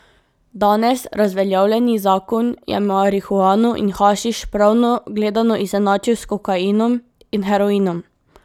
Danes razveljavljeni zakon je marihuano in hašiš pravno gledano izenačil s kokainom in heroinom.